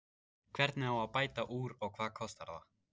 Hvernig á að bæta úr og hvað kostar það?